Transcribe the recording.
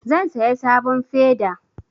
Zan saya sabon feda